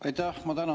Aitäh!